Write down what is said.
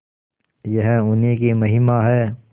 यह उन्हीं की महिमा है